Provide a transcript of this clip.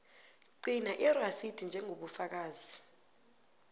gcina irasidi njengobufakazi